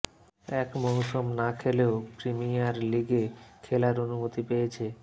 এক মৌসুম না খেলেও প্রিমিয়ার লিগে খেলার অনুমতি পেয়েছে